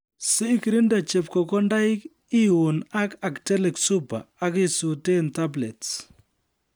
sikirinde chepkokondaik ,iuun ak Actellic supper ,akisutee tablets